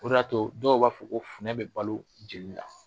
O de y'a to dɔw b'a fɔ ko funɛ bɛ balo jɛli la.